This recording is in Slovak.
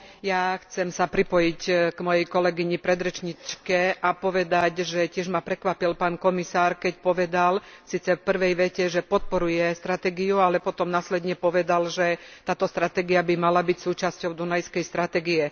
Ja chcem sa pripojiť k mojej kolegyni predrečníčke a povedať, že tiež ma prekvapil pán komisár, keď povedal, síce v prvej vete, že podporuje stratégiu, ale potom následne povedal, že táto stratégia by mala byť súčasťou dunajskej stratégie.